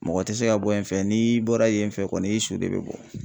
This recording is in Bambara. Mɔgɔ tɛ se ka bɔ yen fɛ n'i bɔra yen fɛ kɔni i su de bɛ bɔ.